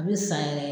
A bɛ san yɛrɛ